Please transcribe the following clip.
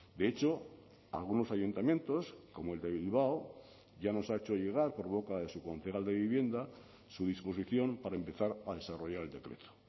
de hecho algunos ayuntamientos como el de bilbao ya nos ha hecho llegar por boca de su concejal de vivienda su disposición para empezar a desarrollar el decreto